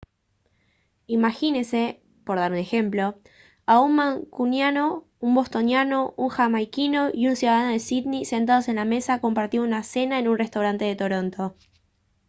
imagínese por dar un ejemplo a un mancuniano un bostoniano un jamaiquino y un ciudadano de sídney sentados en la mesa compartiendo una cena en un restaurante de toronto